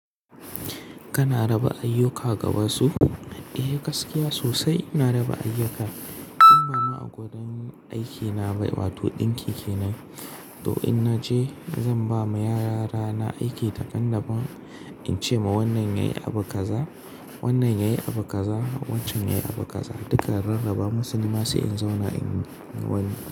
Kana raba ayyuka ga wasu? Eh, gaskiya sosai ina raba ayyuka. In bama a wurin aikina ba, wato ɗinki kenan. To in naje zan ba ma yarana aiki daban-daban In ce ma wannan yayi abu kaza, wannan yayi abu kaza, wancan yayi abu kaza. Duka rarraba musu, nima sai in zauna inyi wani.